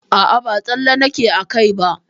A'a ba tsalle nake a kai ba.